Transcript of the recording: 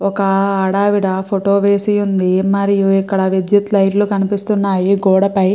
ఒక ఆదవిడ ఫోటో వేసి వుంది మరియు ఇక్కడ విద్యుత్ లైట్లు కనిపిస్తున్నాయి గోడపై --